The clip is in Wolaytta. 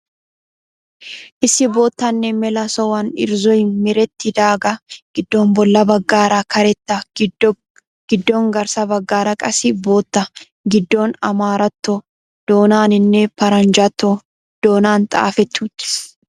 Issi boottanne mela sohuwan irzzoy merettidaagaa giddon bolla baggaara karettaa giddon garssa baggaara qassi boottaa giddon amaaratto doonaaninne paranjjatto doonan xaafetti uttis.